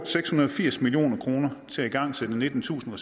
seks hundrede og firs million kroner til at igangsætte nittentusind